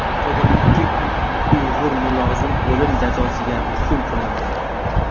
Xitoyda ikki uyg‘ur mulozim o‘lim jazosiga hukm qilindi.